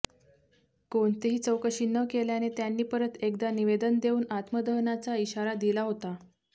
कोणतीही चौकशी न केल्याने त्यांनी परत एकदा निवेदन देऊन आत्मदहनाचा इशारा दिला होता